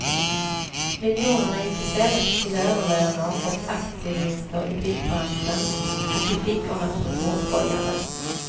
Miljonerna gick i stället till överlöner och aktievinster i byggbranschen och i fickorna på småskojare.